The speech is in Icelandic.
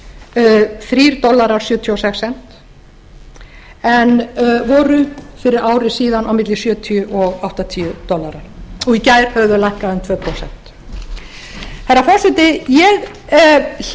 þrjú dollarar og sjötíu og sex bent en voru fyrir ári síðan milli sjötíu til áttatíu dollarar og í gær höfðu þau lækkað um tvö prósent frú forseti ég hlýt